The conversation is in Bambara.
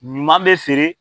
Ɲuman be feere